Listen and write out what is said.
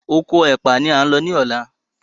Okò ẹpa ní a ń ló ní ọlá.